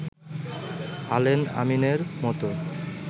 Allen আমিনের মতো